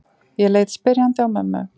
Ég leit spyrjandi á mömmu.